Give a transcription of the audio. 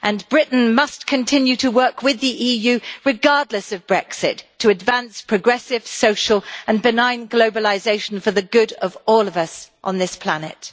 Britain must continue to work with the EU regardless of Brexit to advance progressive social and benign globalisation for the good of all of us on this planet.